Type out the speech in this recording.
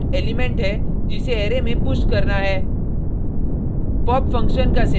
दूसरा argument element है जिसे अरै में पुश करना है